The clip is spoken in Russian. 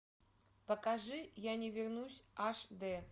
покажи я не вернусь аш д